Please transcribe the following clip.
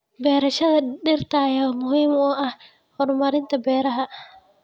Barashada dhirta ayaa muhiim u ah horumarinta beeraha.